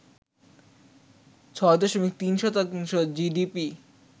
৬ দশমিক ৩ শতাংশ জিডিপি